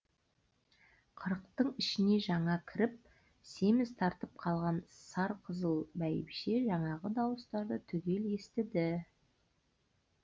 қырықтың ішіне жаңа кіріп семіз тартып қалған сар қызыл бәйбіше жаңағы дауыстарды түгел естіді